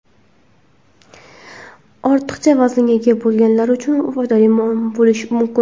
ortiqcha vaznga ega bo‘lganlar uchun foydali bo‘lishi mumkin.